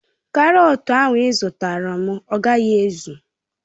Karotu ahu izutaram agaghi ezu